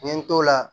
N ye n t'o la